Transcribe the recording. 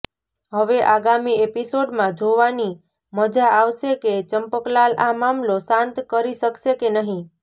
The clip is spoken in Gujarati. હવે આગામી એપિસોડમાં જોવાની મજા આવશે કે ચંપકલાલ આ મામલો શાંત કરી શકશે કે નહીં